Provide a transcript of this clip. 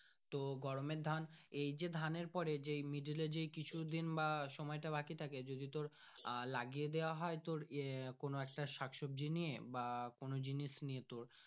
তো গরমের ধান এই যে ধানের পরে যে মিডল এ কিছু দিন বা সোনায় তা বাকি থাকে যদি তোর আহ লাগিয়ে দেওয়া হয় তোর এ কোনো একটা শাকসবজি নিয়ে বা কোনো জিনিস নিয়ে তোর।